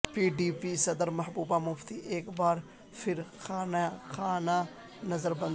P D P صدر محبوبہ مفتی ایک بار پھر خانہ نظر بند